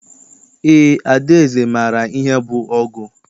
Eé, Adaeze maara ihe bụ ọgụ.